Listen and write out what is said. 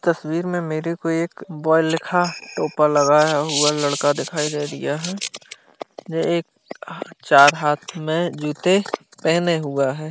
तस्वीर में मेरे को एक बॉय लिखा टोपा लगाया हुआ लड़का दिखाई दे रिहा है वे एक आ चार हाथ में जूते पेहने हुआ है।